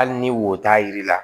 Hali ni wo t'a yir'i la